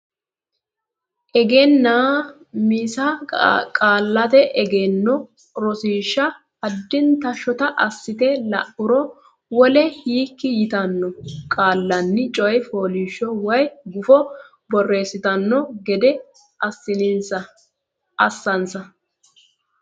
Egennaa misa qaallate egenno rosiishsha addinta shota assite la uro Wole hekki yitanno qaallanni coy fooliishsho woy gufo borreessitanno gede assinsa.